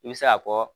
I bɛ se k'a fɔ